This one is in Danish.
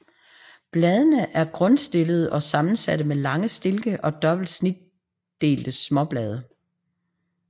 Bladene er grundstillede og sammensatte med lange stilke og dobbelt snitdelte småblade